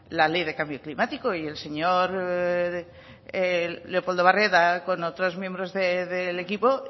la ley de cambio climático y el señor leopoldo barreda con otros miembros del equipo